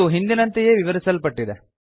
ಇದು ಹಿಂದಿನಂತೆಯೇ ವಿವರಿಸಲ್ಪಟ್ಟಿದೆ